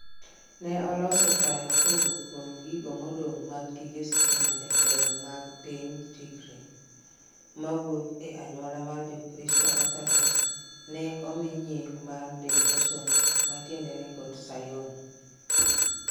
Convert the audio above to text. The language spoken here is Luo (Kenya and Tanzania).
Ne oloso taya kowuok kuom gigo modong' mag gige stima' Jatelo mar piny Tigray, mawuok e anyuola mar Jokristo Orthodox, ne omi nying mar Debretsion, ma tiende en Got Sayon.